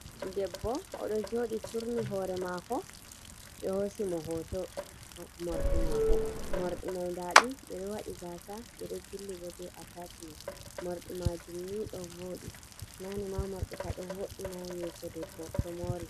Debbo, o ɗo jooɗi turni hoore maako, ɓe hoosi mo hooto moorɗi maako, moorɗi mai ndaa ɗum ɓe ɗo waɗi gaasa, ɓe ɗo jilli bo be ataachimen, moorɗi maajum ni ɗo vooɗi. Naane ma moorɗi ka ɗo vo’ina yeeso debbo to moori.